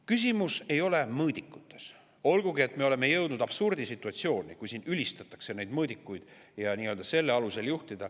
Küsimus ei ole mõõdikutes, olgugi et me oleme jõudnud absurdisituatsiooni, kus ülistatakse neid mõõdikuid ja selle alusel midagi juhtida.